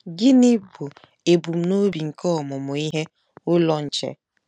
Gịnị bụ ebumnobi nke Ọmụmụ Ihe Ụlọ Nche?